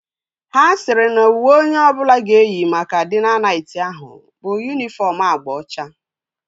Ha sịrị na uwe onye ọbụla ga-eyi maka dina nayt ahụ bụ yunifọm agba ọcha